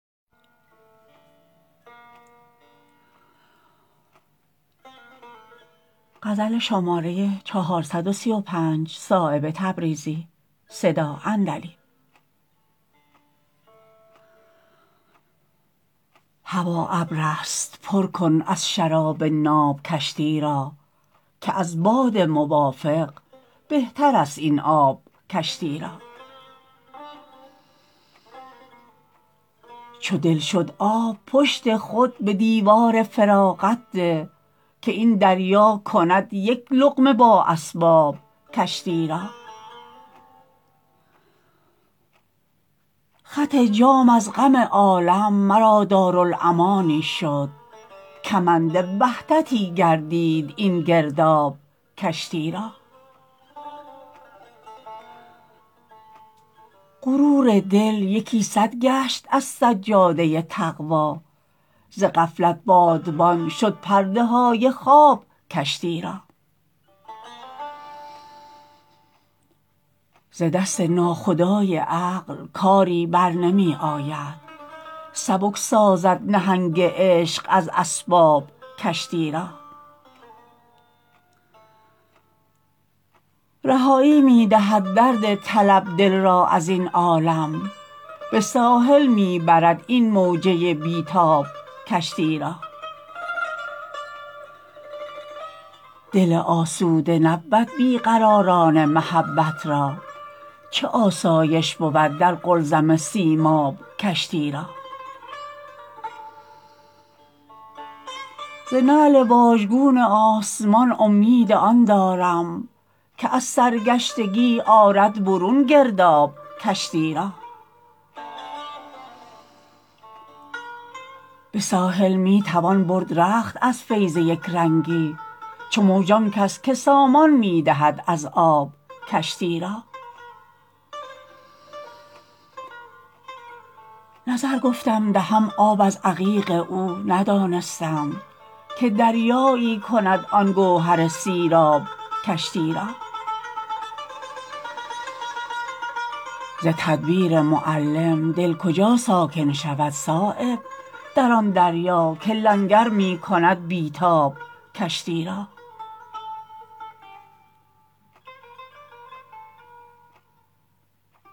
هوا ابرست پر کن از شراب ناب کشتی را که از باد موافق بهترست این آب کشتی را چو دل شد آب پشت خود به دیوار فراغت ده که این دریا کند یک لقمه با اسباب کشتی را خط جام از غم عالم مرا دارالامانی شد کمند وحدتی گردید این گرداب کشتی را غرور دل یکی صد گشت از سجاده تقوی ز غفلت بادبان شد پرده های خواب کشتی را ز دست ناخدای عقل کاری برنمی آید سبک سازد نهنگ عشق از اسباب کشتی را رهایی می دهد درد طلب دل را ازین عالم به ساحل می برد این موجه بی تاب کشتی را دل آسوده نبود بی قراران محبت را چه آسایش بود در قلزم سیماب کشتی را ز نعل واژگون آسمان امید آن دارم که از سرگشتگی آرد برون گرداب کشتی را به ساحل می تواند برد رخت از فیض یکرنگی چو موج آن کس که سامان می دهد از آب کشتی را نظر گفتم دهم آب از عقیق او ندانستم که دریایی کند آن گوهر سیراب کشتی را ز تدبیر معلم دل کجا ساکن شود صایب در آن دریا که لنگر می کند بی تاب کشتی را